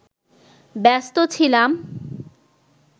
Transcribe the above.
ব্যস্ত ছিলাম